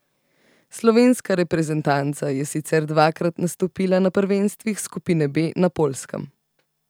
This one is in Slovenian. Slovenska reprezentanca je sicer dvakrat nastopila na prvenstvih skupine B na Poljskem.